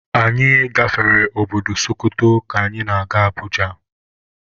Anyị gafere obodo Sokoto ka anyị na-aga Abuja